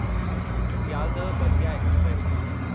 Sealdah Ballia express